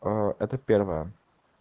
это первое